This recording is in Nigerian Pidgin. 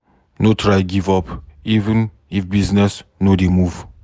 No try give up even if business no dey move.